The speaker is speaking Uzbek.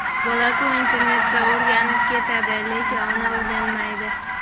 Bolaku internatda o‘rganib ketadi, lekin ona o‘rganmaydi.